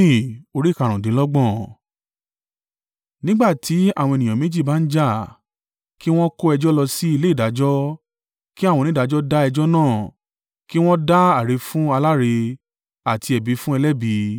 Nígbà tí àwọn ènìyàn méjì bá ń jà, kí wọn kó ẹjọ́ lọ sí ilé ìdájọ́, kí àwọn onídàájọ́ dá ẹjọ́ náà, kí wọn dá àre fún aláre àti ẹ̀bi fún ẹlẹ́bi.